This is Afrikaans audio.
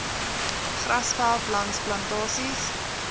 grasveld langs plantasies